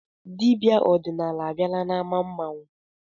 Dibịa ọdịnala abịala n'ámá mmanwụ?